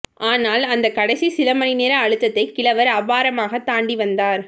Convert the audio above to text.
ஆனால் அந்தக் கடைசி சிலமணிநேர அழுத்தத்தை கிழவர் அபாரமாகத் தாண்டி வந்தார்